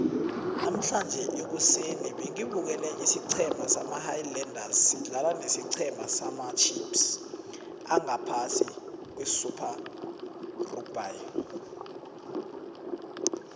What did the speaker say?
namuhlange ekuseni bengibukele isiceme sama highlanders sidlala nesicema samacheifs angaphasi kwesuper rugby